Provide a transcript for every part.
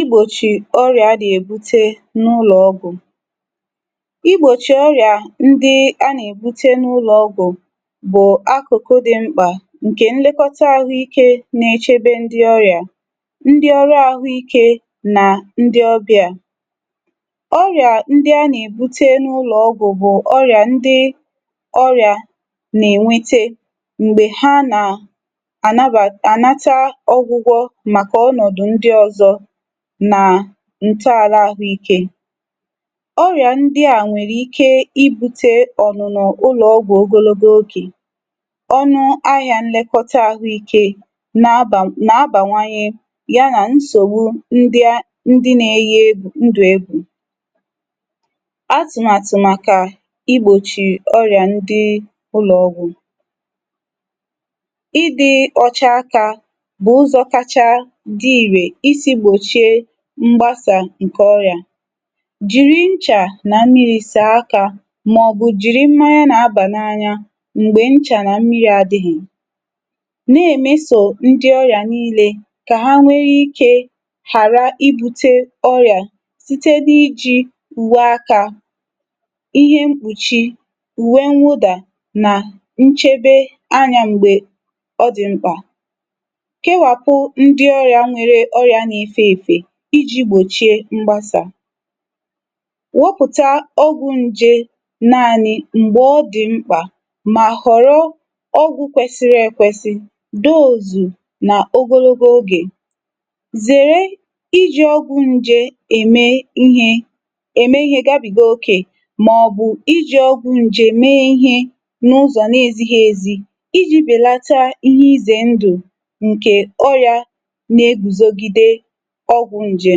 Igbochi Ọrịa a na-ebute n'ụlọ ọgwụ. Igbochi ọrịa ndị a na-ebute n'ụlọ ọgwụ bụ akụkụ dị mkpa nke nlekọta ahụike na-echebe ndị ọrịa, ndị ọrụ ahụike na ndị ọ́bị̀à. Ọrịa ndị a na-ebute n'ụlọ ọgwụ bụ ọrịa ndị ọrịa na-enwete mgbe ha na-anaba anata ọgwụgwọ maka ọnọdụ ndị ọzọ na ntọala ahụike. Ọrịa ndị a nwere ike ibute ọ́nụ́nọ́ ụlọ ọgwụ ogologo oge. Ọnụahịa nlekọta ahụike na-abanw na-abawanye ya na nsogbu ndị a ndị na-eyi ndụ égwù. Atụmatụ igbochi ọrịa ndị ụlọ ọgwụ. Ịdị ọcha aka bụ ụzọ dị irè isi gbochie ọrịa nke aka. Jiri nchà na mmiri saa aka maọbụ jiri mmanya na-aba n'anya mgbe ncha na mmiri adịghị. Na-emeso ndị ọrịa niile ka ha nwee ike ghara ibute ọrịa site n'iji uwe aka, ihe mkpuchi, uwe mwụda na nchebe anya mgbe ọ dị mkpa. Kewapụ ndị ọrịa nwere ọrịa na-efe èfè iji gbochie mgbasa. Wepụta ọgwụ nje naanị mgbe ọ dị mkpa ma họrọ ọgwụ kwesịrị ekwesị dose na ogologo oge. Zere iji ọgwụ nje eme ihe eme ihe gabiga ókè maọbụ iji ọgwụ nje mee ihe n'ụzọ na-ezighị ezi iji belata ihe ize ndụ nke ọrịa na-eguzogide ọgwụ nje.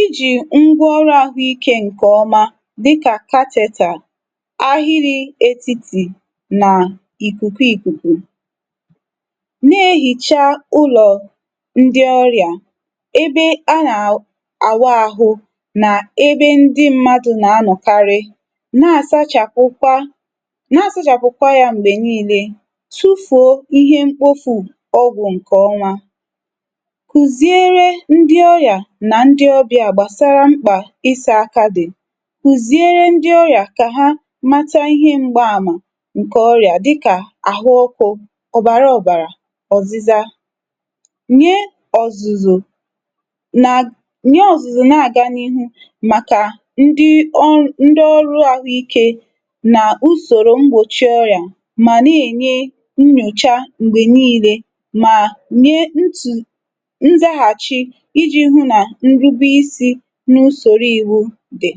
Iji ngwaọrụ ahụike nke ọma dị ka catheter, ahịrị etiti na ikuku ikuku. Na-eyicha ụlọ ndị ọrịa, ebe a na awụ ahụ na ebe ndị mmadụ na-anọkarị. Na-asachapụkwa na-asachapụkwa ya mgbe niile. Tufuo ihe mkpofu ọgwụ nke ọnwa. Kụziere ndị ọrịa na ndị ọ́bị̀à mkpa gbasara ị́sa dị. Kụziere ndị ọrịa ka ha mata ihe mgbaàmà nke ọrịa dịka ahụ ọkụ, ọbara obara, ọ́zị́zá. Nye ọ̀zụ̀zụ̀ nye ọ̀zụ̀zụ̀ na-aga n'ihu maka ndị ọn ndị ọrụ ahụike usoro mgbochi ọrịa ma na-enye nnyocha mgbe niile ma nye ntu nzaghachi iji hụ na nrubeisi n'usoro iwu dị